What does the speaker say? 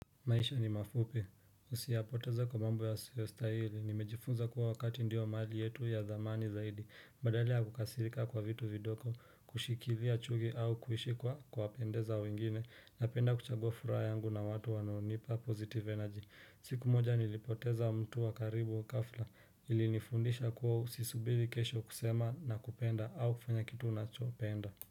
Maisha ni mafupi. Usiyapoteza kwa mambo yasiyostahili. Nimejifunza kuwa wakati ndio mali yetu ya dhamani zaidi. Badala kukasirika kwa vitu vidogo, kushikilia chuki au kuishi kwa pendeza wengine napenda kuchagua yangu na watu wanaonipa positive energy. Siku moja nilipoteza mtu wa karibu wa ghafla ili nifundisha kuwa usisubiri kesho kusema na kupenda au kufanya kitu unachopenda.